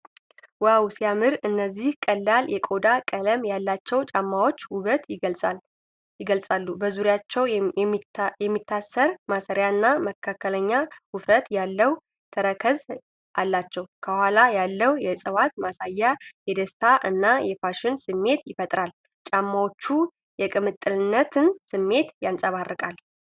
"ዋው! ሲያምር!" እነዚህ ቀላል የቆዳ ቀለም ያላቸው ጫማዎች ውበትን ይገልፃሉ። በዙሪያቸው የሚታሰር ማሰሪያና መካከለኛ ውፍረት ያለው ተረከዝ አላቸው። ከኋላ ያለው የእፅዋት ማሳያ የደስታ እና የፋሽን ስሜት ይፈጥራል። ጫማዎቹ የቅምጥልነትን ስሜት ያንፀባርቃሉ።